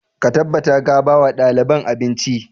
Ka tabbata ka ba wa ɗaliban abinci!